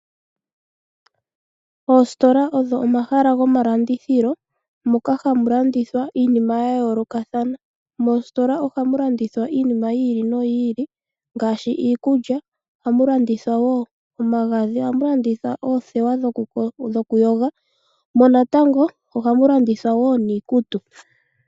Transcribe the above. Oositola odho omahala gomalandithilo moka hamu landithwa iinima ya yoolokathana. Moositola ohamu landithwa iinima yi ili noyi ili ngaashi iikulya. Ohamu landithwa wo omagadhi, ohamu landithwa oothewa dhoku yoga, mo natango ohamu landithwa niikutu.